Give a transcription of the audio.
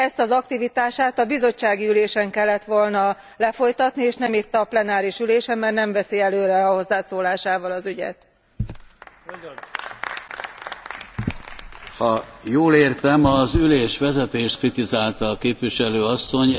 Ezt az aktivitását a bizottsági ülésen kellett volna lefolytatni, és nem itt a plenáris ülésen, mert nem viszi előre a hozzászólásával az